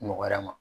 Nɔgɔya ma